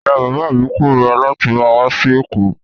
Ìyá-bàbá mi korira láti máa wá sí Èkó.